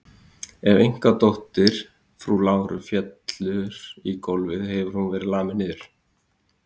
Ef einkadóttir frú Láru fellur á gólfið hefur hún verið lamin niður.